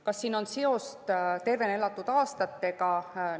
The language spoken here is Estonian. Kas siin on seost tervena elatud aastatega?